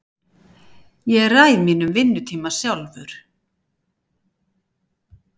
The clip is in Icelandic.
Ég ræð mínum vinnutíma sjálfur.